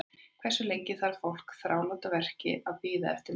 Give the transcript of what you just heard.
Hversu lengi þarf fólk með þráláta verki að bíða eftir meðferð?